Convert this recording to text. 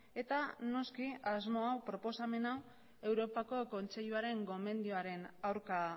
eta noski asmo hau proposamen hau europako kontseiluaren gonbenioaren aurka